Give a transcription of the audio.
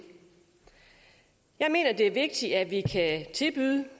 jeg mener det er vigtigt at vi kan tilbyde